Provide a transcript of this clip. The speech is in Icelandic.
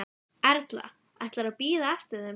Erla: Ætlarðu að bíða eftir þeim?